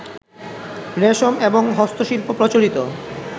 রেশম, এবং হস্তশিল্প প্রচলিত